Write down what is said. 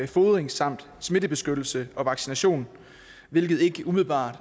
fodring samt smittebeskyttelse og vaccination hvilket ikke umiddelbart